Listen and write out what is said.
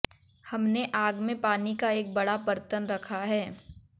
हमने आग में पानी का एक बड़ा बर्तन रखा है